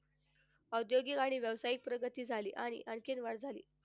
औद्योगिक आणि व्यावसायिक प्रगती झाली आणि आणखीन वाढ झाली.